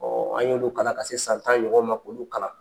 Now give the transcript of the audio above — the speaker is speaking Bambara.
an ye olu kalan ka se san tan ɲɔgɔn ma k'olu kalan.